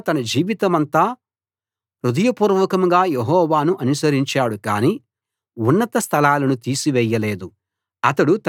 ఆసా తన జీవితమంతా హృదయపూర్వకంగా యెహోవాను అనుసరించాడు గాని ఉన్నత స్థలాలను తీసి వేయలేదు